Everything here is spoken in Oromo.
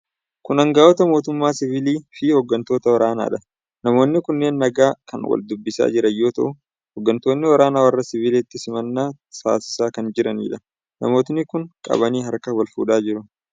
Kun anga'oota mootummaa 'siivilii' fi hoggantoota waraanadha. Namoonni kunneen nagaa kan wal dubbisaa jiran yoo ta'u, hoggantoonni waraanaa warra siiviliitiif simannaa taasisaa kan jiranidha. Namooti kun qabanii harka wal fuudhaa jiru.